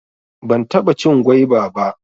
Ban taɓa cin gwaiba ba